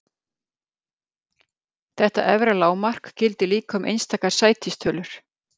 Þetta efra lágmark gildir líka um einstakar sætistölur.